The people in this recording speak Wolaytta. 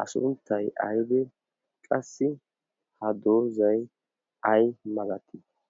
a sunttay aydi qassi ha doozay ay malatii